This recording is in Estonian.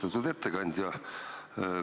Austatud ettekandja!